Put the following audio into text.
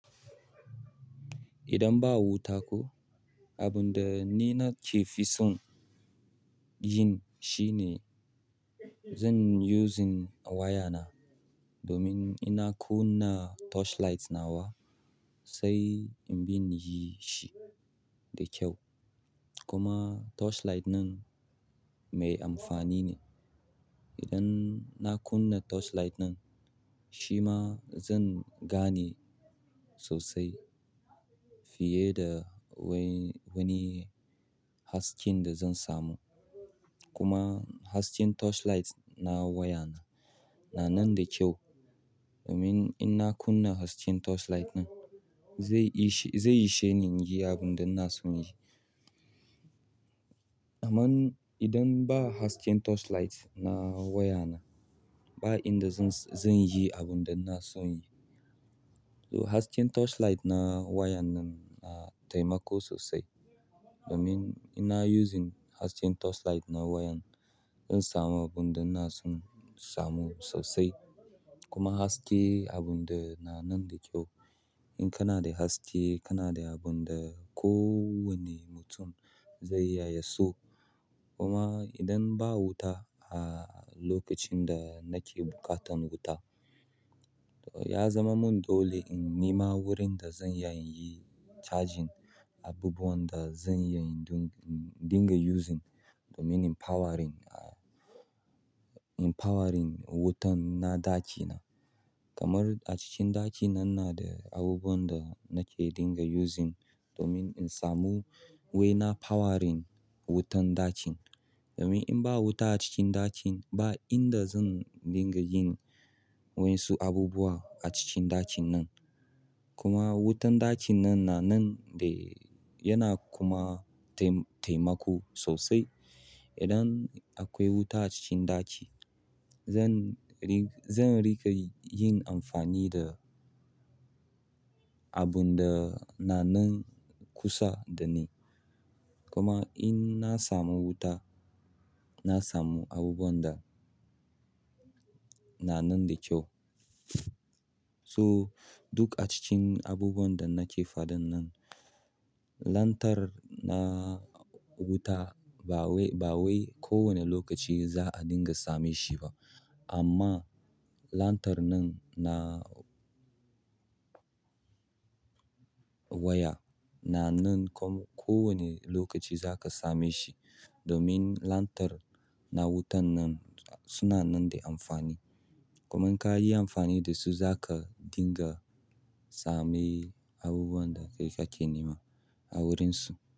Idan ba wuta ko, abun da ni nake fi son yin shine zan using wayana domin ina kunna torchlight na wa sai in bin yi shi da kyau. Kuma torchlight ɗin mai amfani ne. Idan na kunna torchlight ɗin, shi ma zan gane sosai fiye da wani hasken da zan samu. Kuma hasken torchlight na wayana na nan da kyau. Domin in na kunna hasken torchlight ɗin zai ishe ni yi abun da na so yi. Amman idan ba hasken torchlight na wayana, ba inda zan je abun da na so yi. Hasken torch light na wayana na taimako sosai domin ina using hasken torchlight na wayan, in samu abun da na son samu sosai. Kuma haske abun da na nan da kyau. In kana da haske, kana da abun da kowane mutum zai yaye so. Kuma idan ba wuta a lokacin da nake buƙatan wuta, ya zama mun dole in nima wurin da zan iya inyi charging abubuwan da zan iya in dinga using domin empowering, empowering wutan na dacina. Kamar a cikin ɗakina ina na da abubuwan da nake dinga using domin in samu waina powering wutan dacin. Domin in ba wuta a cikin ɗacin, ba inda zan dinga yin wa yansu abubuwa a cikin ɗacin nan. Kuma wutan ɗacin nan na nan da yana kuma taimako sosai. Idan akwai wuta a cikin ɗaci, zan riƙa yin amfani da abun da na nan kusa da ni. Kuma in na samu wuta, na samu abubuwan da na nan da kyau. So duk a cikin abubuwan da nake faɗan nan, lantarr na wuta ba wai kowane lokaci za'a dinga same shi ba. Amma lantarr nan na. Waya na nan komai kowane lokaci zaka same shi. Domin lantarr na wutan nan suna nan da amfani. Kuma in ka yi amfani da su zaka dinga same abubuwan da kake nema a wurinsu.